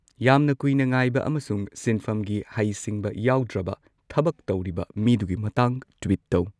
ꯌꯥꯝꯅ ꯀꯨꯏꯅ ꯉꯥꯏꯕ ꯑꯃꯁꯨꯡ ꯁꯤꯟꯐꯝꯒꯤ ꯍꯩꯁꯤꯡꯕ ꯌꯥꯎꯗ꯭ꯔꯕ ꯊꯕꯛ ꯇꯧꯔꯤꯕ ꯃꯤꯗꯨꯒꯤ ꯃꯇꯥꯡ ꯇ꯭ꯋꯤꯠ ꯇꯧ